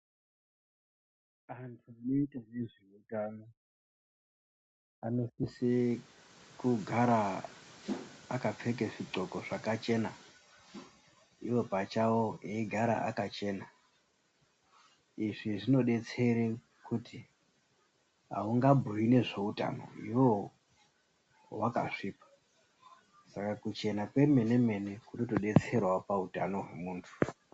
Anhu anoite nezve utano anosise kugara akapfeke zvinxloko zvakchena iwo pachawo eigara akachena, izvi zvinodetsera kuti haungabhuyi nezveutano iwewe wakasvipa, saka kuchena kwemenemene kunotodetserawo pautano hwemuntu.